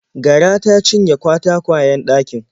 Gara ta cinye katakwayen ɗakin.